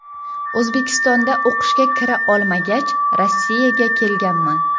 O‘zbekistonda o‘qishga kira olmagach Rossiyaga kelganman.